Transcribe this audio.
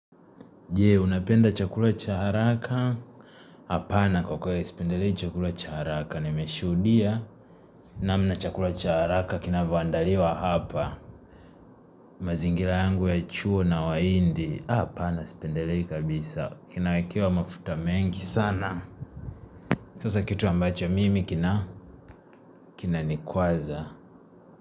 Je, unapenda chakula cha haraka? Hapana kwa kweli sipendelei chakula cha haraka Nimeshudia namna chakula cha haraka kinavyoandaliwa hapa mazingira yangu ya chuo na wahindi Hapana sipendelei kabisa Kinawekewa mafuta mengi sana Sasa kitu ambacho mimi kina, Kinanikwaza.